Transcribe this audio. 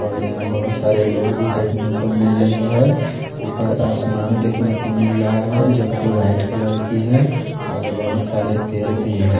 और यहाँ बहुत सारे लोग भी देख ने को मिल रहे है ऊपर आसमान नजर आ रहा हे जो की वाइट कलर की है और बहत सारे पेड़ भी है।